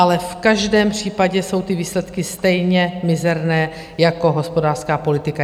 Ale v každém případě jsou ty výsledky stejně mizerné jako hospodářská politika.